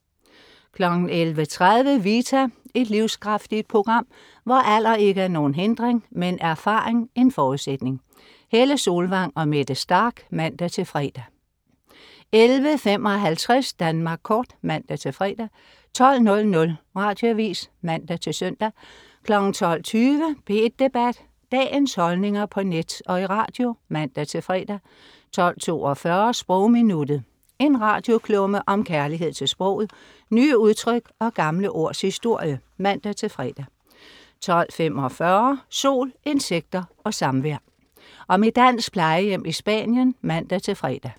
11.30 Vita. Et livskraftigt program, hvor alder ikke er nogen hindring, men erfaring en forudsætning. Helle Solvang og Mette Starch (man-fre) 11.55 Danmark Kort (man-fre) 12.00 Radioavis (man-søn) 12.20 P1 Debat. Dagens holdninger på net og i radio (man-fre) 12.42 Sprogminuttet. En radioklumme om kærlighed til sproget, nye udtryk og gamle ords historie (man-fre) 12.45 Sol, insekter og samvær. Om et dansk plejehjem i Spanien (man-fre)